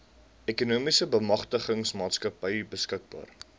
ekonomiese bemagtigingsmaatskappy beskikbaar